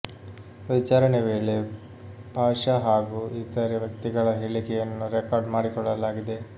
ವಿಚಾರಣೆ ವೇಳೆ ಪಾಷಾ ಹಾಗೂ ಇತರೆ ವ್ಯಕ್ತಿಗಳ ಹೇಳಿಕೆಯನ್ನು ರೆಕಾರ್ಡ್ ಮಾಡಿಕೊಳ್ಳಲಾಗಿದೆ